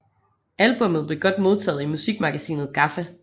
Albummet blev godt modtaget i musikmagasinet GAFFA